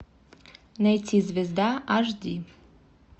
найти звезда аш ди